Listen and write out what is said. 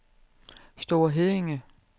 Store Heddinge